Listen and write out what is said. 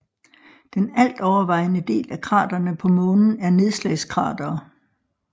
Den altovervejende del af kraterne på Månen er nedslagskratere